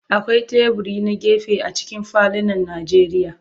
Akwai teburi na gefe a cikin falunan Najeriya.